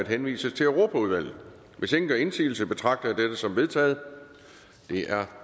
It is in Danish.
henvises til europaudvalget hvis ingen gør indsigelse betragter jeg dette som vedtaget det er